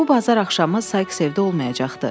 Bu bazar axşamı Sayks evdə olmayacaqdı.